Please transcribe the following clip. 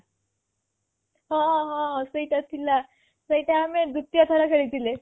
ହଁ ହଁ ସେଇଟା ଥିଲା ସେଇଟା ଆମେ ଦ୍ବିତୀୟ ଥର ଖେଳିଥିଲେ